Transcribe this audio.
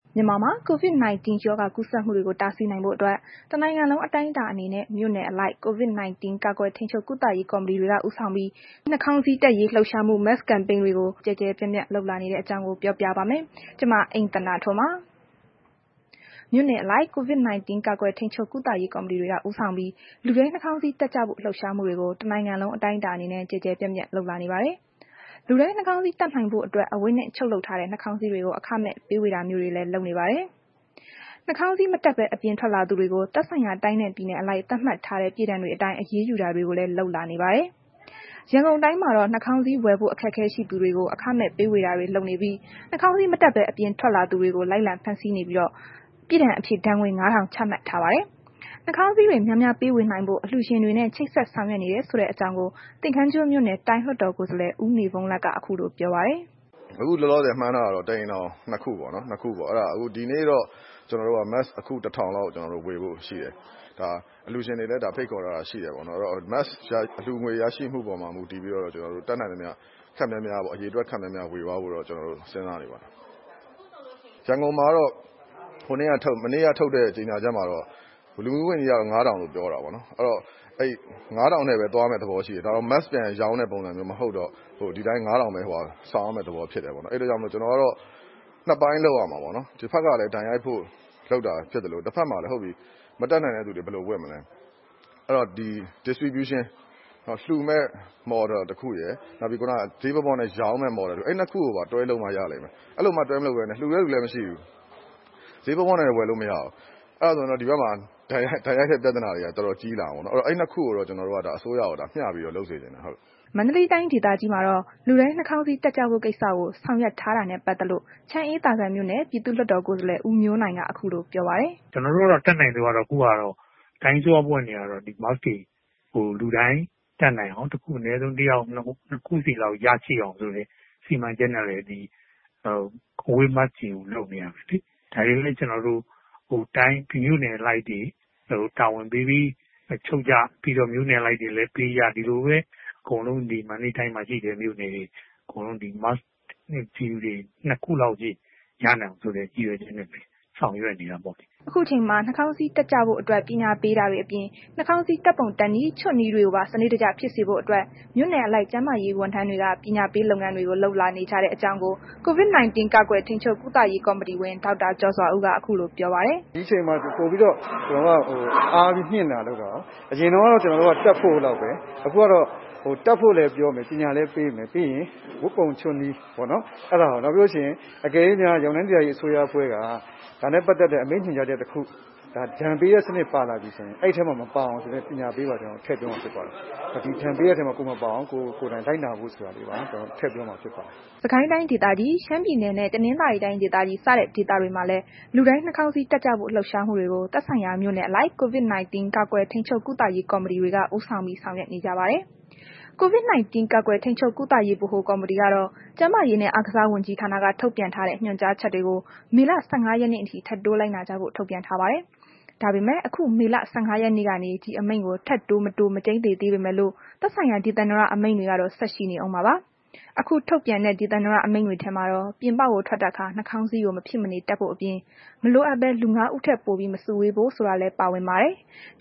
မြန်မာမှာ COVID-19 ရောဂါ ကူးစက်မှုတွေကို တားဆီးနိုင်ဖို့အတွက် တစ်နိုင်ငံလုံး အတိုင်းအတာအနေနဲ့ မြို့နယ်အလိုက် COVID 19 ကာကွယ်ထိန်းချုပ်ကုသရေးကော်မတီတွေက ဦးဆောင်ပြီး နှာခေါင်းစည်းတပ်ရေးလှုပ်ရှားမှု Mask Campaign တွေကို ကျယ်ကျယ်ပြန့်ပြန့် လုပ်လာနေတဲ့ အကြောင်းကို ပြောပြပါမယ်။ ဒီအကြောင်း ဗွီအိုအေမြန်မာပိုင်း သတင်းထောက် မအိမ့်သန္တာထွန်းက ပြောပြပါမယ်။ မြို့နယ်အလိုက် COVID-19 ကာကွယ်ထိန်းချုပ်ကုသရေးကော်မတီတွေက ဦးဆောင်ပြီး လူတိုင်းနှာခေါင်းစည်း တပ်ကြဖို့ လှုပ်ရှားမှုတွေကို တစ်နိုင်ငံလုံး အတိုင်းအတာအနေနဲ့ ကျယ်ကျယ်ပြန့်ပြန့် လုပ်လာနေပါတယ်။ လူတိုင်းနှာခေါင်းစည်း တပ်နိုင်ဖို့အတွက် အဝတ်နဲ့ ချုပ်လုပ်ထားတဲ့ နှာခေါင်းစည်းတွေကို အခမဲ့ဝေပေးတာမျိုးတွေလည်း ရှိပါတယ်။ နှာခေါင်းစည်း မတပ်ဘဲ အပြင်ထွက်လာသူတွေကို သက်ဆိုင်ရာ တိုင်းနဲ့ ပြည်နယ်အလိုက် သတ်မှတ်ထားတဲ့ ပြစ်ဒဏ်တွေအတိုင်း အရေးယူတာတွေကိုလည်း လုပ်လာနေပါတယ်။ ရန်ကုန်တိုင်းမှာတော့ နှာခေါင်းစည်း ဝယ်ဖို့ အခက်အခဲရှိနိုင်တဲ့သူတွေကို အခမဲ့ ပေးဝေတာတွေ လုပ်နေပြီး နှာခေါင်းစည်း မတပ်ဘဲ အပြင်ထွက်သူတွေကို လိုက်လံဖမ်းဆီးနေပြီး ပြစ်ဒဏ်အဖြစ် ဒဏ်ငွေ ၅,၀၀၀ ချမှတ်ထားပါတယ်။ နှာခေါင်းစည်းတွေများများ ပေးဝေနိုင်ဖို့ အလှုရှင်တွေနဲ့ ချိတ်ဆက်ဆောင်ရွက်နေတယ် ဆိုတဲ့ အကြောင်းကို သင်္ကန်းကျွန်းမြို့နယ် တိုင်းလွှတ်တော်ကိုယ်စားလှယ် ဦးနေဘုန်းလတ်က ခုလိုပြောပါတယ်။ “အခုလောလောဆယ် မှန်းထားတာတော့ တစ်အိမ်ထောင်ကို နှစ်ခုပေါ့။ ဒီနေ့တော့ ကျနော်တို့က mask အခု ၁,၀၀၀ လောက် ကျနော်တို့ ဝေဖို့ရှိတယ်။ ဒါ အလှူရှင်တွေလည်း ဖိတ်ခေါ်ထားတာရှိတယ်ပေါ့နှော်။ အဲ့တော့ mask က အလှူငွေ ရရှိမှုအပေါ်မှာ မူတည်ပြီးတော့ ကျနော်တို့ တတ်နိုင်သမျှ အရေအတွက် ခပ်များများတော့ ဝေသွားဖို့တော့ စဉ်းစားနေပါတယ်။ ရန်ကုန်မှာတော့ မနေ့က ထုတ်တဲ့ ကြေညာချကမှာတော့ လူမှုရေး ဝန်ကြီးက ၅,၀၀၀ လို့ပြောတာပဲ။ အဲ့တော့ အဲ့ဒီ ၅,၀၀၀ နဲ့ပဲ သွားမယ့် သဘောရှိတယ်။ mask ပြန်ရောင်းတဲ့ သဘောမျိုး မဟုတ်တော့ ဒီအတိုင်း ၅,၀၀၀ပဲ ဆောင်ရမယ့်သဘောမျိုးဖြစ်တယ်ပေါ့နော်။ အဲ့ဒီအတွက်ကြောင့် ကျနော်ကတော့ နှစ်ပိုင်းလုပ်ရမှာပေါ့နော်။ တစ်ဘက်ကလည်း ဒဏ်ရိုက်ဖို့လုပ်တာဖြစ်သလို နောက်တစ်ဘက်မှာလည်း ဟုတ်ပြီ မတတ်နိုင်တဲ့သူတွေမှာ ဘယ်လိုတပ်မလဲ အဲ့တော့ လှူမယ့် Model တစ်ခုရယ်၊ နောက်တစ်ခုက ဈေးပေါပေါနဲ့ ရောင်းမယ့် Model တစ်ခုရယ်။ အဲ့ နှစ်ခုကိုပါ တွဲလုပ်မှ ရလိမ့်မယ်။ အဲ့လိုမှ တွဲမလုပ်ပဲနဲ့ လှူတဲ့သူလည်း မရှိဘူး။ ဈေးပေါပေါနဲ့လည်း ဝယ်လို့မရဘူး၊ အဲဒါဆိုရင်တော့ ဒီဘက်မှာ ဒဏ်ရိုက်တဲ့ ပြဿနာက တော်တော်ကြီးလာမယ်။ အဲ့တော့ အဲ့နှစ်ခုကိုတော့ ကျနော်တို့က ဒါ အစိုးရကို မျှပြီးတော့ လုပ်စေချင်တယ်။” မန္တလေးတိုင်းဒေသကြီးမှာတော့ လူတိုင်း နှာခေါင်းစည်း တပ်ကြဖို့ကိစ္စကို ဆောင်ရွက် ထားတာနဲ့ ပတ်သက်လို့ ချမ်းအေးသာစံမြို့နယ် ပြည်သူ့လွှတ်တော်ကိုယ်စားလှယ် ဦးမျိုးနိုင်က ခုလို ပြောပြပါတယ်။ “ကျနော်တို့ကတော့ တတ်နိုင်သမျှတော့ ခုဟာက တိုင်းအစိုးရ အဖွဲ့အနေနဲ့ကတော့ mask တွေကို လူတိုင်းတပ်နိုင်အောင် အနည်းဆုံး တစ်ယောက်ကို နှစ်ခုစီလောက် ရရှိအောင်ဆိုတဲ့ စီမံချက်နဲ့ အဝတ် mask တွေကို ထုတ်ပေးနေတာပဲလေ။ ဒါတွေကိုလည်း ကျနော်တို့ မြို့နယ်အလိုက်တွေ တာဝန်ပေးပြီး ချုပ်ကြ၊ မြို့နယ်အလိုက်တွေလည်း ပေးကြ။ ဒီလိုပဲ အကုန်လုံး ဒီ မန္တလေးတိုင်းမှာ ရှိတဲ့ မြို့နယ်တွေ အကုန်လုံး ပြည်သူတွေ mask တွေ နှစ်ခုလောက်စီ ရရှိအောင် ရည်ရွယ်ချက်နဲ့ပဲ ဆောင်ရွက်နေတာပေါ့လေ။ ” အခုအချိန်မှာ နှာခေါင်းစည်းတပ်ကြဖို့ အတွက် ပညာပေးတာတွေအပြင် နှာခေါင်းစည်း တပ်ပုံတပ်နည်း ချွတ်နည်းတွေကိုပါ စနစ်တကျဖြစ်စေဖို့အတွက် မြို့နယ်အလိုက် ကျန်းမာရေးဝန်ထမ်းတွေက ပညာပေးလုပ်ငန်းတွေကို လုပ်နေကြတဲ့အကြောင်းကို COVID-19 ကာကွယ်ထိန်းချုပ် ကုသရေး ကော်မတီဝင် ဒေါက်တာ ကျော်စွာဦးက ခုလိုပြောပါတယ်။ “ဒီအချိန်မှာ ကျနော်တို့က ပိုပြီးတော့ အားမြှင့်လာတဲ့ အနေအထားပေါ့နှော်။ အရင်တုန်းကတော့ ကျနော်တို့က mask တပ်ဖို့လောက်ပဲ အခုကတော့ တပ်ဖို့လည်းပြောမယ်။ ပညာလည်းပေးမယ်၊ ပြီးရင် ဝတ်ပုံ၊ ချွတ်နည်း၊ နောက်ပြီးလို့ရှိရင် အကယ်၍များ ရန်ကုန်တိုင်းဒေသကြီး အစိုးရအဖွဲ့က ဒါနဲ့ ပတ်သက်ပြီး အမိန့်ကြေညာချက် တစ်ခု ဒဏ်ပေးစနစ် ပါလာပြီဆိုရင် အဲ့ဒီထဲမှာ မပါအောင် ဆိုတဲ့ ပညာပေးပါ ကျနော်တို့ ထည့်ပြီးတော့ လုပ်ပါတယ်။ ဒီဒဏ်ပေးတဲ့ထဲမှာ ကိုယ်မပါအောင် လိုက်နာဖို့ဆိုတာကို ထပ်ပြောတာ ဖြစ်ပါတယ်။" စစ်ကိုင်းတိုင်းဒေသကြီး၊ ရှမ်းပြည်နယ်နှင့် တနသာၤရီတိုင်းဒေသကြီးစတဲ့ ဒေသတွေမှာလည်း လူတိုင်းနှာခေါင်းစည်း တပ်ကြဖို့ လှုပ်ရှားမှုတွေကို သက်ဆိုင်ရာ မြို့နယ်အလိုက် COVID-19 ကာကွယ်ထိန်းချုပ် ကုသရေး ကော်မတီတွေက ဦးဆောင်ပြီး ဆောင်ရွက်နေကြပါတယ်။ COVID-19 ကာကွယ်ထိန်းချုပ်ကုသရေး ဗဟိုကော်မတီကတော့ ကျန်းမာရေးနဲ့ အားကစားဝန်ကြီးဌာနက ထုတ်ပြန်ထားတဲ့ ညွှန်ကြားချက်တွေကို မေလ ၁၅ ရက်နေ့အထိ ထပ်တိုးလိုက်နာကြဖို့ ထုတ်ပြန်ထားပါတယ်။ ဒါပေမဲ့ အခု မေလ ၁၅ ရက်နေ့ကနေ ဒီအမိန့်ကို ထပ်တိုး၊ မတိုး မကျိန်းသေပေမဲ့လို့ သက်ဆိုင်ရာ ဒေသန္တရအမိန့်တွေ ကတော့ ဆက်ရှိနေဦးမှာဖြစ်ပါတယ်။ အခု ထုတ်ပြန်တဲ့ ဒေသန္တရအမိန့်ထဲမှာတော့ ပြင်ပထွက်တဲ့အခါ နှာခေါင်းစည်းကို မဖြစ်မနေ တပ်ဖို့အပြင် မလိုအပ်ဘဲ လူ ငါးယောက် ထက်ပိုပြီး မစုဝေးဖို့ဆိုတာလည်း ပါဝင်ပါတယ်။